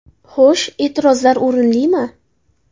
Xo‘sh, e’tirozlar o‘rinlimi?